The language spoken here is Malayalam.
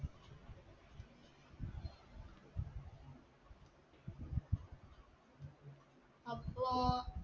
അപ്പോ